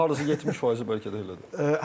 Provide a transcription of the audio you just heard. Hardasa 70% bəlkə də elədir.